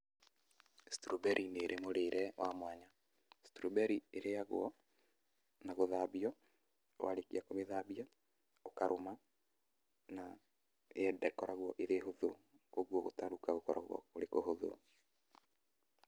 strawberry nĩ ĩrĩ mũrĩre wa mwanya, strawberry ĩrĩagwo na gũthambio, warĩkia kũmĩthambia ũkarũma na yendekoragwo ĩrĩ hũthũ ũguo gũtarũka gũkoragwo kũrĩ ũhũthũ.